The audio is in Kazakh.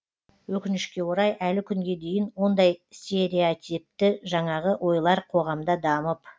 өкінішке орай әлі күнге дейін сондай стереотипті жаңағы ойлар қоғамда дамып